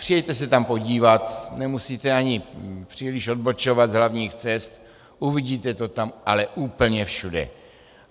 Přijeďte se tam podívat, nemusíte ani příliš odbočovat z hlavních cest, uvidíte to tam ale úplně všude.